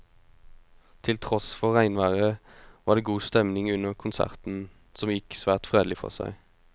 Til tross for regnværet var det god stemning under konserten, som gikk svært fredelig for seg.